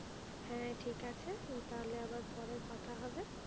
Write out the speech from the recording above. হ্যাঁ ঠিক আছে, তাহলে আবার পরে কথা হবে।